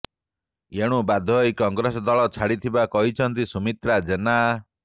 ଏଣୁ ବାଧ୍ୟହୋଇ କଂଗ୍ରେସ ଦଳ ଛାଡିଥିବା କହିଛନ୍ତି ସୁମିତ୍ରା ଜେନା